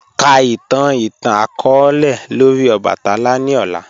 Ka itan itan-akọọlẹ lori obatala ni ọla.